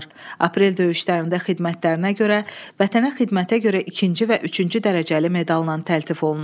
Aprel döyüşlərində xidmətlərinə görə Vətənə xidmətə görə ikinci və üçüncü dərəcəli medalla təltif olunub.